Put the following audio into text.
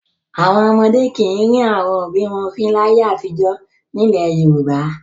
Àwọn ọmọdé kì í rín àwọn òbí wọn fín láyé àtijọ́ nílẹ̀ Yorùbá.